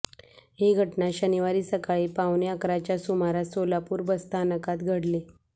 ही घटना शनिवारी सकाळी पावणेअकराच्या सुमारास सोलापूर बसस्थानकात घडली